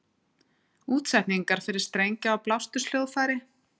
útsetningar fyrir strengja og blásturs hljóðfæri